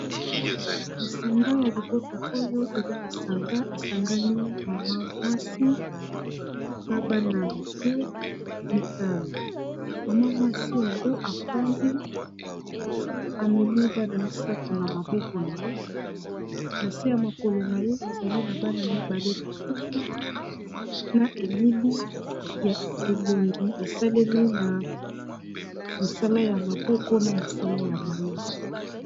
lisanga ya libota oyo eza lisanga esangani mama mwasi na bana mike mitamo mama mwasi yango afandi amemi bana misato na maboko na ye na se ya mokolo na ye ezali na bana mibale lisusu na elili ya elongi esalemi na misala ya maboko na mosala ya mayele